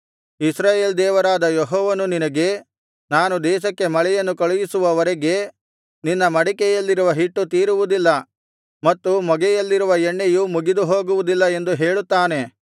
ಇಸ್ರಾಯೇಲ್ ದೇವರಾದ ಯೆಹೋವನು ನಿನಗೆ ನಾನು ದೇಶಕ್ಕೆ ಮಳೆಯನ್ನು ಕಳುಹಿಸುವವರೆಗೆ ನಿನ್ನ ಮಡಿಕೆಯಲ್ಲಿರುವ ಹಿಟ್ಟು ತೀರುವುದಿಲ್ಲ ಮತ್ತು ಮೊಗೆಯಲ್ಲಿರುವ ಎಣ್ಣೆಯು ಮುಗಿದುಹೋಗುವುದಿಲ್ಲ ಎಂದು ಹೇಳುತ್ತಾನೆ